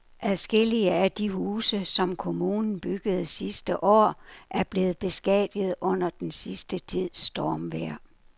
Adskillige af de huse, som kommunen byggede sidste år, er blevet beskadiget under den sidste tids stormvejr.